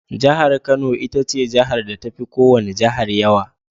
Jihar Kano itace jihar da tafi ko wani Jihar yawa.